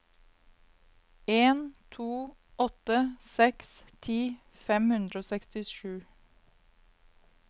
en to åtte seks ti fem hundre og sekstisju